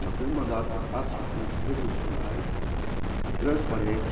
Ela fez um mandato absolutamente revolucionário, transparente.